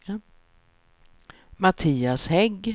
Mattias Hägg